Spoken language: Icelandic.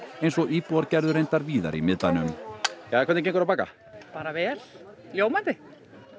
eins og íbúar gerðu reyndar víðar í miðbænum hvernig gengur að baka bara vel ljómandi